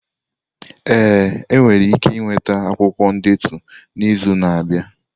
Ee, ị nwere ike nweta akwụkwọ ndetu n'izu na-abịa.